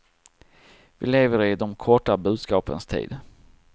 Vi lever i de korta budskapens tid.